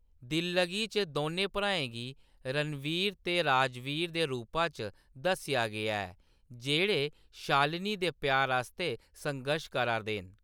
दिल्लगी च दोनें भ्राएं गी रणवीर ते राजवीर दे रूपा च दस्सेआ गेआ ऐ, जेह्‌‌ड़े शालिनी दे प्यार आस्तै संघर्श करा दे न।